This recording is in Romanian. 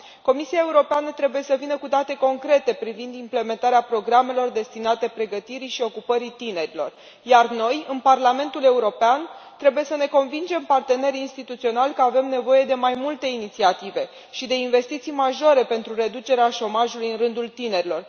Comisia Europeană trebuie să vină cu date concrete privind implementarea programelor destinate pregătirii și ocupării tinerilor, iar noi în Parlamentul European trebuie să ne convingem partenerii instituționali că avem nevoie de mai multe inițiative și de investiții majore pentru reducerea șomajului în rândul tinerilor.